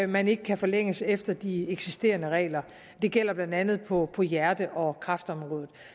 man ikke kan forlænges efter de eksisterende regler det gælder blandt andet på på hjerte og kræftområdet